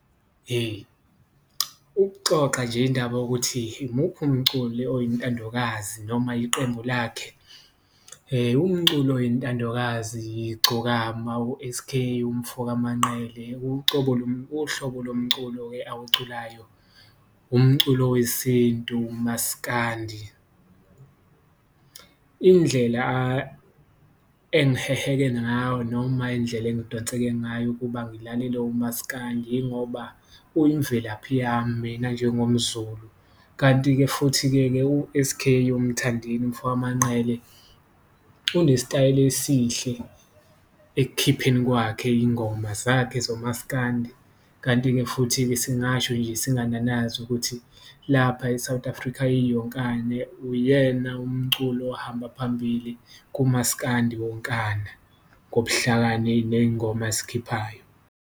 Hheyi. Ukuxoxa nje indaba yokuthi imuphi umculi oyintandokazi noma iqembu lakhe umculi oyintandokazi, igcokama u-S_K umfoka Manqele uhlobo lomculo-ke awuculayo umculo wesintu, umaskandi. Indlela engiheheke ngayo noma indlela engidonseke ngayo ukuba ngilalele umasikandi ingoba uyimvelaphi yami mina njengomZulu, kanti-ke futhi-ke ke u-S_K uMthandeni umfoka Manqele unesitayela esihle ekukhipheni kwakhe iyingoma zakhe zomaskandi. Kanti-ke, futhi-ke singasho nje singananazi ukuthi lapha e-South Africa iyonkana, uyena umculi ohamba phambili kumaskandi wonkana ngobuhlakani, neyingoma azikhiphayo.